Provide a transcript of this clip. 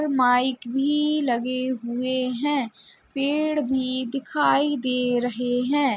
और माइक भी लगे हुए हैं। पेड़ भी दिखाई दे रहे हैं।